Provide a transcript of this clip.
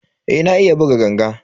Eh na iya buga ganga.